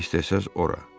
Hara istəsəniz ora.